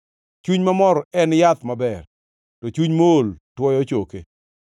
Chuny mamor en yath maber, to chuny mool tuoyo choke.